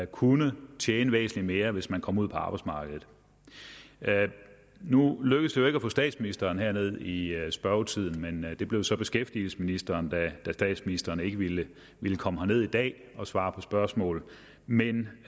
kunne tjene væsentlig mere hvis man kom ud på arbejdsmarkedet nu lykkedes det jo ikke at få statsministeren herned i spørgetiden det blev så beskæftigelsesministeren da statsministeren ikke ville ville komme herned i dag og svare på spørgsmål men